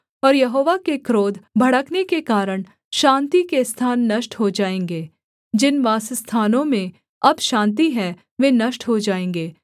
और यहोवा के क्रोध भड़कने के कारण शान्ति के स्थान नष्ट हो जाएँगे जिन वासस्थानों में अब शान्ति है वे नष्ट हो जाएँगे